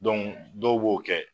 dɔw b'o kɛ